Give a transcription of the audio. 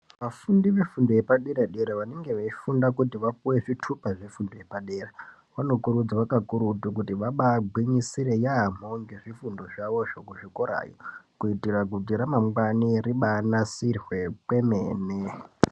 Vafundi vefundo yepadera-dera vanenge veifunda kuti vaopuwe zvitupa zvefundo yepadera vanokurudzirwa kakurutu kuti vabaagwinyisire yaamho ngezvifundo zvavozvo kuzvikorayo. Kuitira kuti ramangwani ribaanasirwe kwemene.